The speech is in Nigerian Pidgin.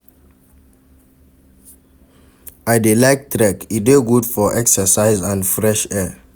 I dey like trek, e dey good for exercise and fresh air.